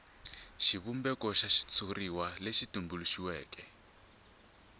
xivumbeko xa xitshuriwa lexi tumbuluxiweke